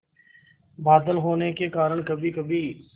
बादल होने के कारण कभीकभी